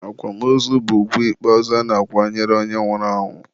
akwamozu bụ ugwu ikpeazụ a na-akwanyere onye nwụrụ anwụ.